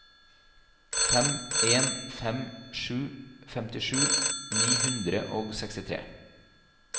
fem en fem sju femtisju ni hundre og sekstitre